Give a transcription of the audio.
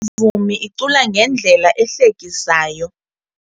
Le mvumi icula ngendlela ehlekisayo.